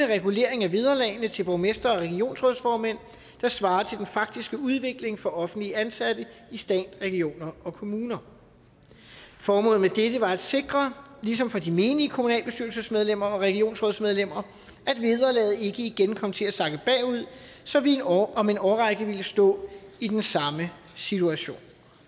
regulering af vederlagene til borgmestre og regionsrådsformænd der svarer til den faktiske udvikling for offentligt ansatte i stat region og kommune formålet med dette var at sikre ligesom for de menige kommunalbestyrelsesmedlemmer og regionsrådsmedlemmer at vederlaget ikke igen kom til at sakke bagud så vi om en årrække ville stå i den samme situation